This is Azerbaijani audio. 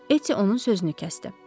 Eti onun sözünü kəsdi.